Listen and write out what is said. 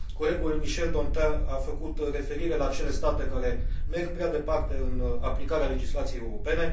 Colegul Michel Dantin a făcut referire la acele state care merg prea departe în aplicarea legislației europene.